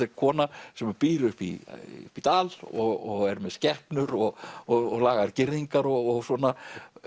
er kona sem býr upp í dal og er með skepnur og og lagar girðingar og svona